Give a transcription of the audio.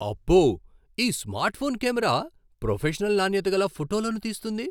అబ్బో! ఈ smartphone camera professional నాణ్యత గల ఫోటోలను తీస్తుంది.